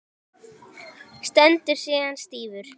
Stendur síðan stífur.